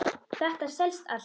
Þetta selst allt.